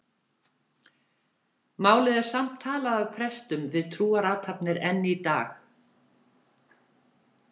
Málið er samt talað af prestum við trúarathafnir enn í dag.